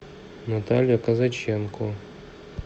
наталья казаченко